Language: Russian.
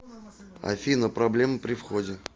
афина проблемы при входе